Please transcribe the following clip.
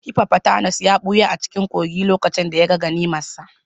Hippopotamus ya ɓuya a cikin kogin lokacin da ya ga ganimarsa.